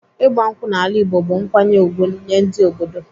Ịgba nkwụ n'ala Igbo bụ nkwanye ùgwù nyee ndị obodo.